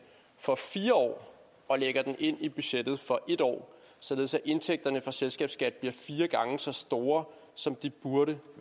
for fire år og lægger den ind i budgettet for en år således at indtægterne fra selskabsskatten bliver fire gange så store som de burde